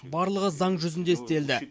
барлығы заң жүзінде істелді